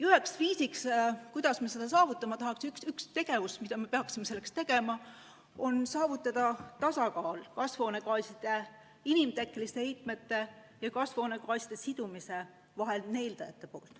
Üks viis, kuidas me selle saavutame, üks tegevus, mida me peaksime selleks tegema, on saavutada tasakaal inimtekkeliste kasvuhoonegaaside heiteallikate ja sidujate lõikes.